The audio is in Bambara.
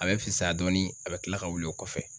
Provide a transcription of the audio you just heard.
A bɛ fisaya dɔɔnin a bɛ tila ka wuli o kɔfɛ.